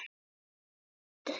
Þín Anna Lind.